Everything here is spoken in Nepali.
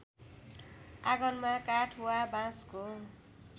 आँगनमा काठ वा बाँसको